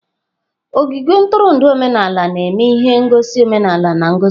Ogige ntụrụndụ omenala na-eme ihe ngosi omenala na ngosi.